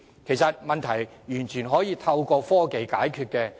其實以上問題完全可透過科技解決。